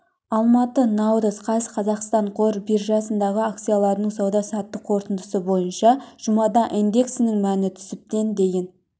алматы наурыз қаз қазақстан қор биржасындағы акциялардың сауда-саттық қорытындысы бойынша жұмада индексінің мәні түсіп тен дейін